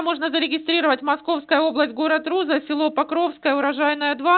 можно зарегистрировать московская область город руза село покровское урожайная два